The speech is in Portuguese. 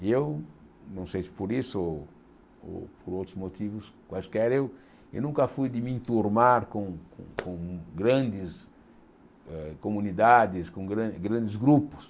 E eu, não sei se por isso ou por outros motivos quaisquer, eu eu nunca fui de me enturmar com com grandes eh comunidades, com gran grandes grupos.